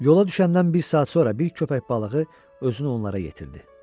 Yola düşəndən bir saat sonra bir köpək balığı özünü onlara yetirdi.